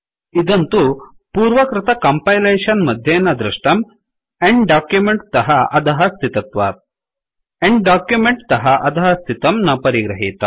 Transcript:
इदं तु पूर्वकृत कम्पैलेशन् मध्ये न दृष्टम् एण्ड documentएण्ड् दोक्युमेण्ट् तः अधः स्थितत्वात् end documentएण्ड् दोक्युमेण्ट् तः अधःस्थितं न परिगृहीतम्